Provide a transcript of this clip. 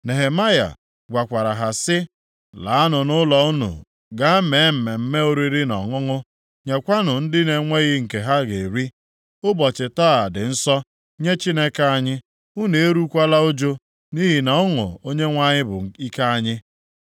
Nehemaya gwakwara ha sị; “Laanụ nʼụlọ unu gaa mee mmemme oriri na ọṅụṅụ nyekwanụ ndị na-enweghị nke ha ga-eri. Ụbọchị taa dị nsọ nye Chineke anyị. Unu erukwala ụjụ, nʼihi na ọṅụ Onyenwe anyị bụ ike unu.”